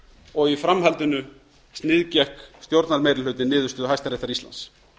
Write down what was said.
og í framhaldinu sniðgekk stjórnarmeirihlutinn niðurstöðu hæstaréttar íslands